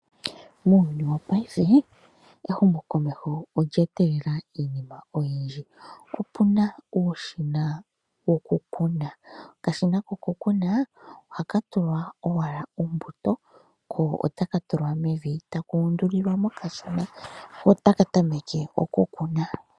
Muuyuni wa paife, ehumo komeho olya etelela iinima oyindji. Opuna uushina woku kuna, okashina koku kuna, ohaka tulwa owala ombuto, ko otaka tulwa mevi, taka uundulwa, nga kashona, ko otaka tameke oku kuna.